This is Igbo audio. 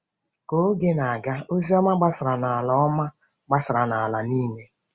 Ka oge na-aga, ozi ọma gbasara n’ala ọma gbasara n’ala niile.